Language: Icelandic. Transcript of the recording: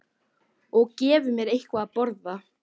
Og gefi mér eitthvað að borða.